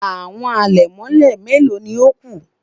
Awọn alẹmọ melo ni o ku?